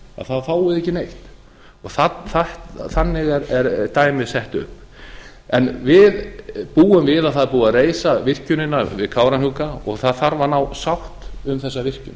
þá fáið þið ekki neitt þannig er dæmið sett upp en við búum við að það er búið að reisa virkjunina við kárahnjúka og það þarf að nást bót um þessa virkjun